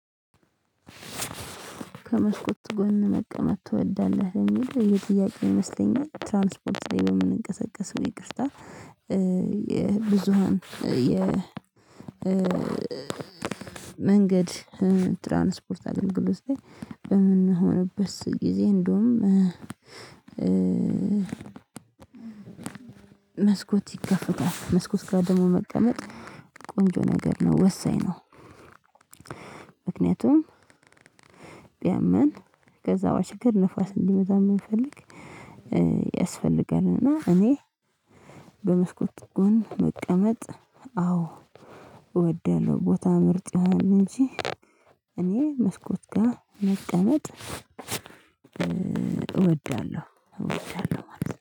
ከመስኮት ጎን መቀመጥ ትወዳለህ የሚል የጥያቄ ይመስለኛል ትራንስፖርት ላይ የምንቀሳቀስ ይቅርታ የብዙሃን መንገድ ትራንስፖርት አገልግሎት ላይ በምንሆንበት ጊዜ እንደውም መስኮት ይከፈታል መስኮት ጋር ደግሞ መቀመጥ ቆንጆ ነገር ነው ወሳኝ ነው። ምክንያቱም ቢያመን ከዛ ባሻገር ነፋስ እንዲመታን ብንፈልግ ያስፈልጋል። እና እኔ በመስኮት ጎን መቀመጥ አዎ እወዳለው። ቦታ ምርጫህን እንጂ እኔ መስኮት ጋር መቀመጥ እወዳለሁ እወዳለሁ ማለት ነው